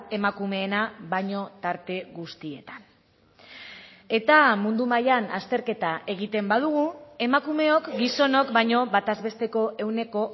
emakumeena baino tarte guztietan eta mundu mailan azterketa egiten badugu emakumeok gizonok baino bataz besteko ehuneko